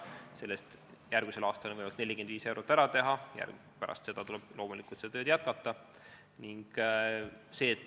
Sellest on järgmisel aastal võimalik 45 eurot ära teha, pärast seda tuleb loomulikult seda tööd jätkata.